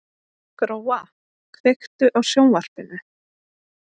Gróa, kveiktu á sjónvarpinu.